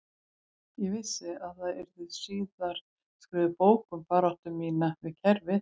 Ég vissi að það yrði síðar skrifuð bók um baráttu mína við kerfið